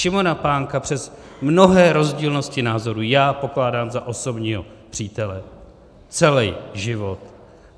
Šimona Pánka přes mnohé rozdílnosti názorů já pokládám za osobního přítele celý život.